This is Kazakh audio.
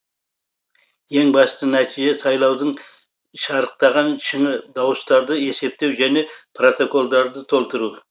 ең басты нәтиже сайлаудың шарықтаған шыңы дауыстарды есептеу және протоколдарды толтыру